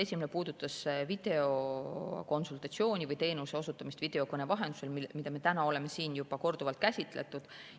Esimene puudutas videokonsultatsiooni või teenuse osutamist videokõne vahendusel, mida me täna oleme siin juba korduvalt käsitlenud.